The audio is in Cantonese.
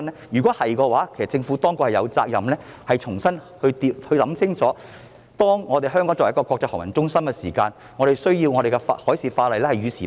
如是者，政府有責任重新考慮清楚，香港作為國際航運中心，需具備與時並進的海事法例。